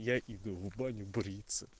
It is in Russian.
я иду в баню бриться